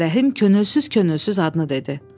Ağarəhim könülsüz-könülsüz adını dedi.